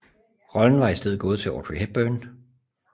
Rollen var i stedet gået til Audrey Hepburn